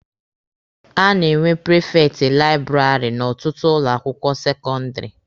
A na-enwe prifekti laịbụrarị n'ọtụtụ ụlọ akwụkwọ sekọndịrị.